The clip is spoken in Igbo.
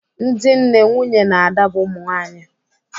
Ndị nne, nwunye na ada bụ ụmụ nwaanyị